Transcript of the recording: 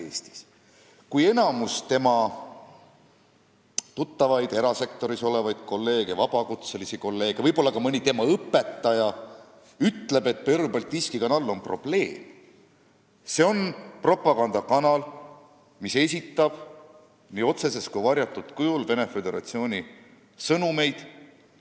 Mõtleme olukorrale, kus enamik selle spetsialisti tuttavaid, erasektoris olevaid kolleege ja vabakutselisi kolleege ning võib-olla ka mõned tema õpetajad ütlevad, et Pervõi Baltiiski Kanal on probleem: see on propagandakanal, mis esitab nii otsesel kui ka varjatul kujul Venemaa Föderatsiooni sõnumeid.